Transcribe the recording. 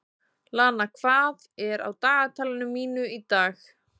Lana, hvað er á dagatalinu mínu í dag?